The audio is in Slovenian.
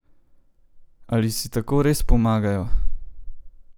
Ali si tako res pomagajo?